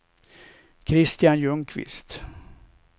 Kristian Ljungqvist